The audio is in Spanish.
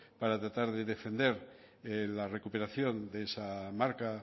para tratar de defender la recuperación de esa marca